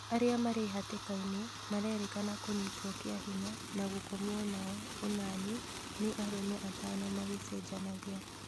Arĩa marĩ hatĩkana-inĩ marerĩkana kũnyitwo kĩa hinya na gũkomwo nao ũnani nĩ arũme atono magĩcenjanagia